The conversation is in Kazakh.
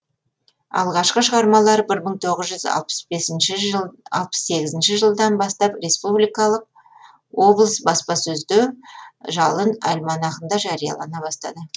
алғашқы шығармалары бір мың тоғыз жүз алпыс сегізінші жылдан респ облысы баспасөзде жалын альманахында жариялана бастады